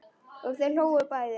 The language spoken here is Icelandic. Og þau hlógu bæði.